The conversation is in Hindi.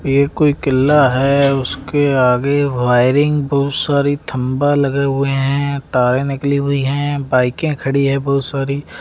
ये कोई कील्ला हैं उसके आगे वायरिंग बहुत सारी खंबा लगे हुए हैं तारे निकली हुई हैं बाइके के खड़ी है बहुत सारी--